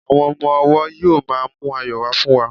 àwọn ọmọ ọwọ yíò ma mu ayọ wa fún wa